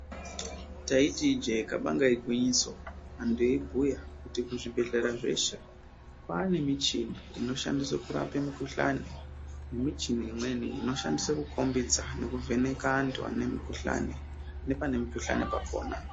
Taiti ijee kabanga igwinyiso antu eibhuya kuti kuzvibhehlera zveshe kwaanemichini inoshandiswe kurape mikuhlani, nemichini imweni inoshandiswe kukombidza nekuvheneka antu ane mikuhlani, nepane mukuhlani pakona.